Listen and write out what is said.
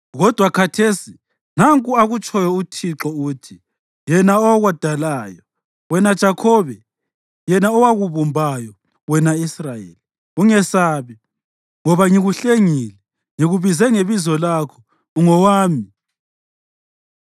Kodwa khathesi, nanku akutshoyo uThixo uthi, yena owakudalayo, wena Jakhobe, yena owakubumbayo, wena Israyeli: “Ungesabi, ngoba ngikuhlengile; ngikubize ngebizo lakho; ungowami.